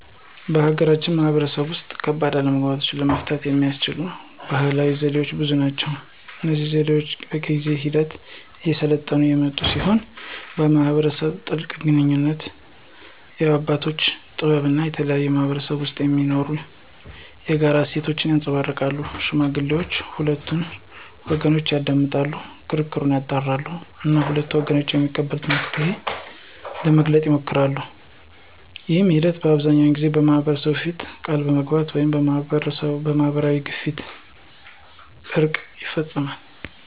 በሀገራችን ማህበረሰብ ውስጥ ከባድ አለመግባባቶችን ለመፍታት የሚያገለግሉ ባህላዊ ዘዴዎች ብዙ ናቸው። እነዚህ ዘዴዎች በጊዜ ሂደት እየሰለጠኑ የመጡ ሲሆን የማህበረሰቡን ጥልቅ ግንኙነት፣ የአባቶችን ጥበብ እና የተለያዩ ማህበረሰቦች ውስጥ የሚገኙ የጋራ እሴቶችን ያንፀባርቃሉ። ሽማግሌዎች ሁለቱንም ወገኖች ያዳምጣሉ፣ ክርክሩን ያጣራሉ እና ሁለቱም ወገኖች የሚቀበሉትን መፍትሄ ለመፈለግ ይሞክራሉ። ይህ ሂደት አብዛኛውን ጊዜ በማህበረሰቡ ፊት ቃል በመግባት ወይም በማህበራዊ ግፊት እርቅ ይፈፀማል።